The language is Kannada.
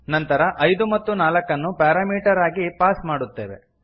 ನಂತರ ಐದು ಮತ್ತು ನಾಲ್ಕನ್ನು ಪ್ಯಾರಾಮೀಟರ್ ಆಗಿ ಪಾಸ್ ಮಾಡುತ್ತೇವೆ